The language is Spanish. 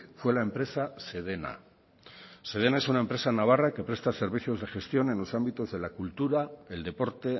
fue la empresa sedena sedena es una empresa navarra que presta servicios de gestión en los ámbitos de la cultura el deporte